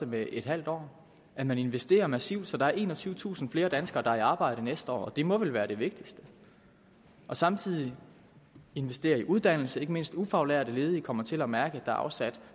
med et halvt år at man investerer massivt så der er enogtyvetusind flere danskere der er i arbejde næste år og det må vel være det vigtigste samtidig investeres i uddannelse så ikke mindst ufaglærte ledige kommer til at mærke at er afsat